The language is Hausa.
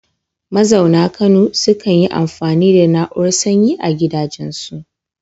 Mazauna Kano sukan yi amfani da na'urar sanyi a gidajensu.